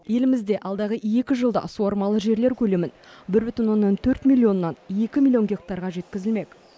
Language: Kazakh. елімізде алдағы екі жылда суармалы жерлер көлемін бір бүтін оннан төрт миллионнан екі миллион гектарға жеткізілмек